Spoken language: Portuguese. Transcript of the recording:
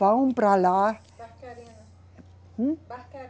Vão para lá. Barcarena. Hum? Barca